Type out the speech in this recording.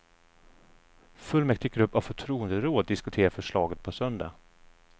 Fullmäktiggrupp och förtroenderåd diskuterar förslaget på söndag.